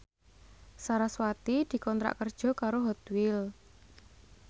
sarasvati dikontrak kerja karo Hot Wheels